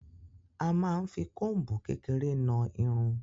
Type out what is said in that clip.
A máa n fí kombu kékeré náa Irun.